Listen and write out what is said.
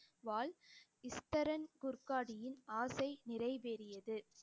வாள் இஸ்தரன் குர்காடியின் ஆசை நிறைவேறியது